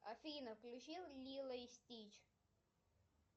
афина включи лило и стич